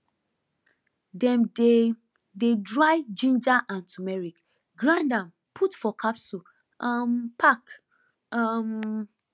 dem dey dey dry ginger and turmeric grind am put for capsule um pack um